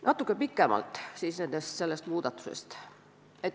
Natuke pikemalt sellest.